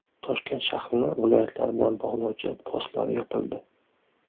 Toshkent shahrini viloyatlar bilan bog‘lovchi postlar yopildi.